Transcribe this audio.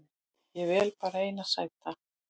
Ég vel bara eina sæta